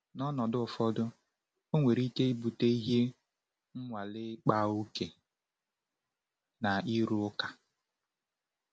N’ọnọdụ ụfọdụ, ọ nwere ike ibute ihe nwale-ịkpa ókè na ịrụ ụka.